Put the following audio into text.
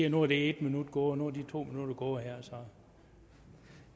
at nu er en minut gået og nu er to minutter gået